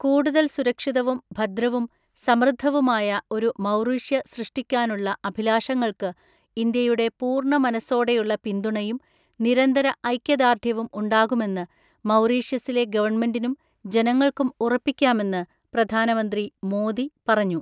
കൂടുതൽ സുരക്ഷിതവും, ഭദ്രവും, സമൃദ്ധവുമായ ഒരു മൗറീഷ്യ സൃഷ്ടിക്കാനുള്ള അഭിലാഷങ്ങൾക്ക് ഇന്ത്യയുടെ പൂർണ്ണ മനസ്സോടെയുള്ള പിന്തുണയും, നിരന്തര ഐക്യദാർഢ്യവും ഉണ്ടാകുമെന്ന് മൗറീഷ്യസിലെ ഗവണ്മെന്റിനും, ജനങ്ങൾക്കും ഉറപ്പിക്കാമെന്ന് പ്രധാനമന്ത്രി മോദി പറഞ്ഞു.